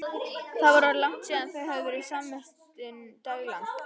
Það var orðið langt síðan þau höfðu verið samvistum daglangt.